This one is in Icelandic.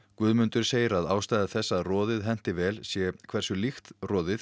Guðmundur segir að ástæða þess að roðið henti vel sé hversu líkt roðið